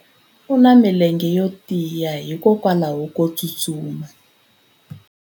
U na milenge yo tiya hikwalaho ko tsustuma.